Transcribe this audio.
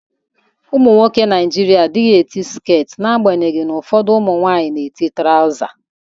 Ụmụnwoke Naijịrịa adịghị eti sket na-agbanyeghị na ụfọdụ ụmụnwaanyị na-eti trawza.